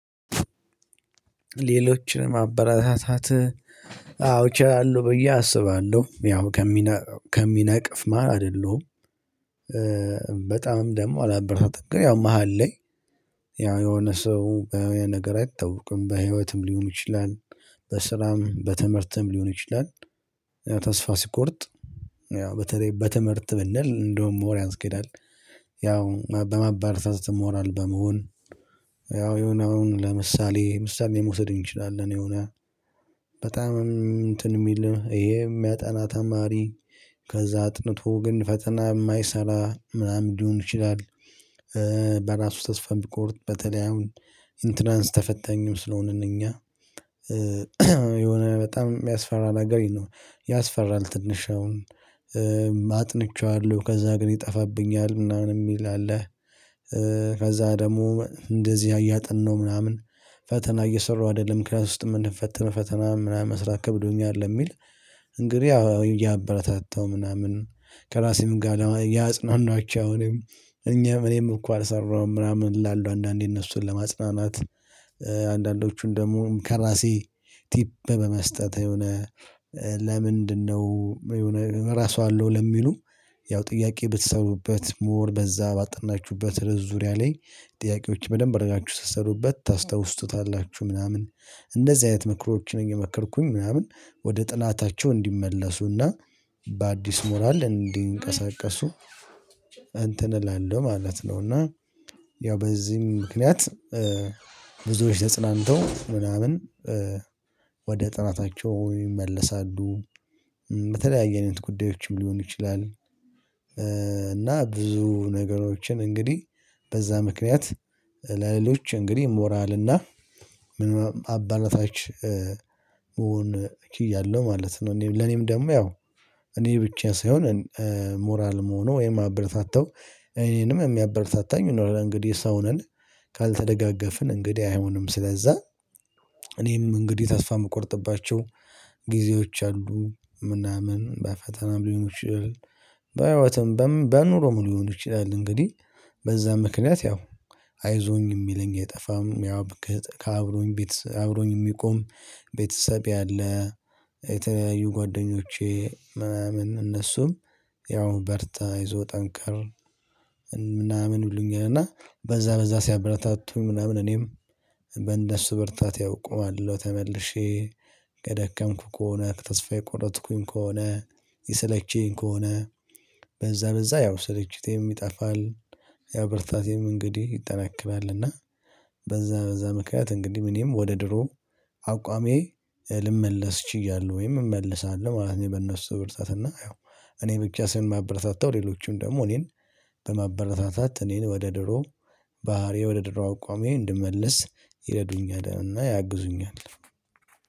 ሌሎችን ማበረታታት እችላለሁ ብዬ አስባለሁ ያው ከሚነቅፍ መህል አይደለሁም። በጣም ደግሞ አላበረታታም ያው ግን መሃል ላይ። ያው የሆነ ሰው የሚሆነው ነገር አይታወቅም በህይወትም ሊሆን ይችላል። በስራም በትምህርትም ሊሆን ይችላል። ተስፋ ሲቆርጥ ያው በተለይ በትምህርት ብንል እንደውም ሞር ያስኬዳል። ያው በማበረታታት ሞራል በመሆን። ያው የሆነ አሁን ለምሳሌ ምሳሌ መውሰድ እንችላለን። የሆነ በጣም እንትን የሚል ይሄ የሚያጠና ተማሪ ከዛ አጥንቶ ግን ፈተና የማይሰራ ምናምን ሊሆን ይችላል። በራሱ ተስፋ ሚቆርጥ በተለይ አሁን ኢንትራንስ ተፈተኞች ስለሆንን እኛ። የሆነ በጣም የሚያስፈራ ነገር ይሄ ነው ያስፈራል ትንሽ አሁን አጥንቼዋለሁ ከዛ ግን ይጠፋብኛል ምናምን የሚል አለ። ከዛ ደግሞ እንደዚህ እያጠናሁ ምናምን ፈተና እየሰራሁ አይደለም ክላስ ውስጥ የምንፈተነው ፈተና ምናምን መስራት ከብዶኛል ለሚል። እንግዲህ እያበረታታው ምናምን ከራሴም ጋር እያጽናናሁዋቸሁ ነው። እኔም እኛም እኔም እኮ አልሰራሁም ምናምን እላለሁ አንዳንዴ እነሱን ለማጽናናት። አንዳንዶቹን ደግሞ ከራሴ ቲፕ በመስጠት የሆነ ለምንድነው የሆነ እረሳዋለሁ ለሚሉ። ያው ጥያቄ ብትሰሩበት ሞር በዛ ባጠናችሁበት ርዕስ ዙሪያ ላይ ጥያቄዎች በደንብ አደረጋችሁ ትሰሩበት ታስታውሱታላችሁ ምናምን። እንደዚህ አይነት ምክሮች እየመከርኩኝ ምናምን ወደ ጥናታቸው እንዲመለሱና በአዲስ ሞራል እንዲንቀሳቀሱ። እንትን እላለሁ ማለት ነው። እና ያው በዚህም ምክንያት። ብዙዎች ተጽናንተው ምናምን ወደ ጥናታቸው ይመለሳሉ። በተለያየ አይነት ጉዳዮችም ሊሆን ይችላል። እና ብዙ ነገሮችን እንግዲህ በዛ ምክንያት ለሌሎች እንግዲህ ሞራል እና አበረታች መሆን ችያለሁ ማለት ነው። እኔም ለኔም ደግሞ ያው እኔ ብቻ ሳይሆን ሞራል ምሆነው የማበረታታው እኔንም የሚያበርታታኝ ይኖራል እንግዲህ ሰው ነን። ካልተደጋገፍን እንግዲህ አይሆንም ስለዛ። እኔም እንግዲህ ተስፋ የምቆርጥባቸው ጊዜዎች አሉ ምናምን በፈተና ሊሆኑ ይችላል። በህይወትም በኑሮ ሊሆኑ ይችላል እንግዲህ በዛ ምክንያት ያው አይዞኝ የሚለኝ የጠፋም ያው እብቅ ከአብሮኝ ቤት አብሮኝ የሚቆም። ቤተሰቤ አለ። የተለያዩ ጓደኞቼ ምናምን እነሱም ያው በርታ አይዞህ ጠንክር። ምናምን ይሉኛል እና በዛ በዛ ሲያበረታቱኝ ምናምን እኔም በእነርሱ ብርታት ያውእቆማለሁ ተመልሼ። ከደከምኩ ከሆነ ተስፋ የቆረጥኩኝ ከሆነ ይሰለችኝ ከሆነ በዛ በዛ ያው ስልችቴም ይጠፋል። ያው ብርታቴም እንግዲህ ይጠናከራል። እና በዛ በዛ ምክንያት እንግዲህ እኔም ወደ ድሮ አቋሜ ልመለስ ችያለሁ ወይም እመልሳለሁ ማለት ነው። በነሱ ብርታትና ያው እኔ ብቻ ሳልሆን ማበረታታው ሌሎችም ደግሞ እኔን በማበረታታት እኔን ወደ ድሮ ባህሪዬ ወደ ድሮው አቋሜ እንድመለስ ይረዱኛልና ያግዙኛል